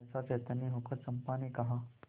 सहसा चैतन्य होकर चंपा ने कहा